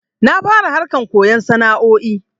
Na fara harkan koyon sana'o'i